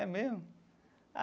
É mesmo?